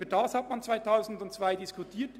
Darüber hat man im Jahr 2002 diskutiert.